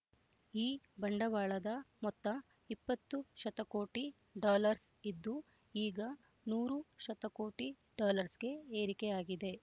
ಈ ಬಂಡವಾಳದ ಮೊತ್ತ ಇಪ್ಪತ್ತು ಶತಕೋಟಿ ಡಾಲಱ್ಸ್ ಇದ್ದು ಈಗ ನೂರು ಶತಕೋಟಿ ಡಾಲಱ್ಸ್‌ಗೆ ಏರಿಕೆಯಾಗಿದೆ